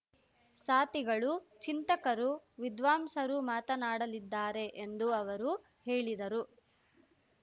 ಸಾತಿಗಳು ಚಿಂತಕರು ವಿದ್ವಾಂಸರು ಮಾತನಾಡಲಿದ್ದಾರೆ ಎಂದು ಅವರು ಹೇಳಿದರು